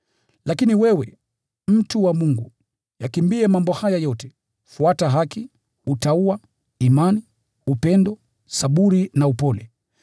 Lakini wewe, mtu wa Mungu, yakimbie mambo haya yote. Fuata haki, utauwa, imani, upendo, saburi na upole.